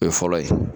O ye fɔlɔ ye